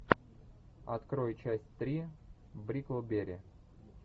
открой часть три бриклберри